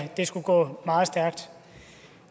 det skulle gå meget stærkt